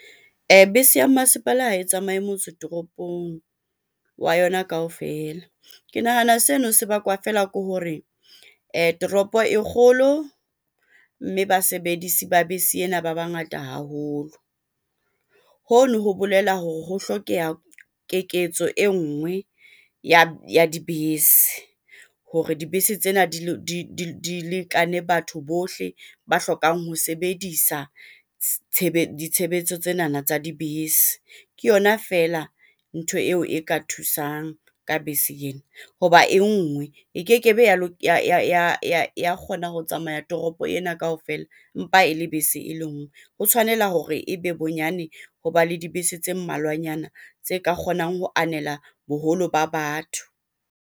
Bese ya masepala ha e tsamaye motse toropong wa yona kaofela. Ke nahana seno se bakwa feela ke hore toropo e kgolo, mme basebedisi ba bese ena ba bangata haholo. Ho no ho bolela hore ho hlokeha keketso e ngwe ya dibese Hore dibese tsena di le di di lekane. Batho bohle ba hlokang ho sebedisa ditshebetso tsenana tsa dibese. Ke yona feela ntho eo e ka thusang ka bese ena ho ba e ngwe e ke ke be ya la ya kgona ho tsamaya toropo ena kaofela, empa e le bese e le ngwe. Ho tshwanela hore e be bonyane ho ba le dibese tse mmalwanyana tse ka kgonang ho anela boholo ba batho.